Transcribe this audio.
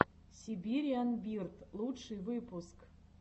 сибириан бирд лучший выпуск